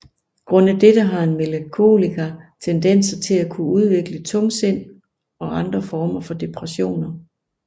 Grundet dette har en melankoliker tendenser til at kunne udvikle tungsind og andre former for depressioner